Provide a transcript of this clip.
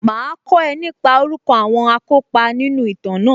Màá kọ́ nípa orúkọ àwọn akópa nínú ìtàn náà